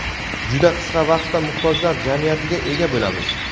juda qisqa vaqtda muhtojlar jamiyatiga ega bo‘lamiz.